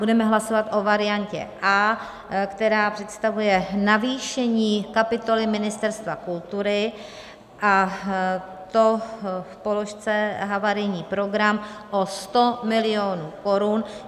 Budeme hlasovat o variantě A, která představuje navýšení kapitoly Ministerstva kultury, a to v položce havarijní program, o 100 milionů korun.